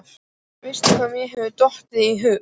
Veistu hvað mér hefur dottið í hug?